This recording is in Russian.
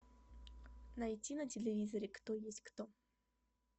найти на телевизоре кто есть кто